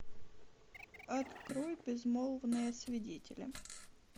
открой безмолвные свидетели